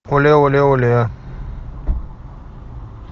оле оле оле